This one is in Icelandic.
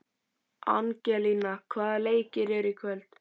Angelína, hvaða leikir eru í kvöld?